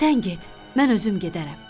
Sən get, mən özüm gedərəm.